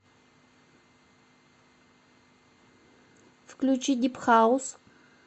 включи дип хаус